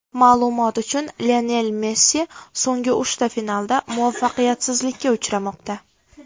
Ma’lumot uchun, Lionel Messi so‘nggi uchta finalda muvaffaqiyatsizlikka uchramoqda.